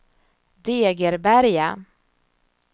Degeberga